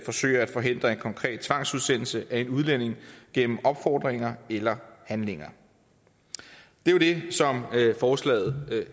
forsøge at forhindre en konkret tvangsudsendelse af en udlænding gennem opfordringer eller handlinger det er jo det som forslaget